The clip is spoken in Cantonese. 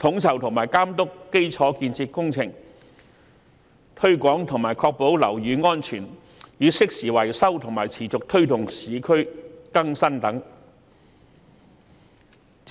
統籌及監督基礎建設工程、推廣和確保樓宇安全與適時維修，以及持續推動市區更新等。